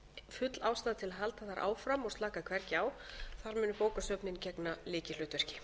full ástæða til að halda þar áfram og slaka hvergi á þar munu bókasöfnin gegna lykilhlutverki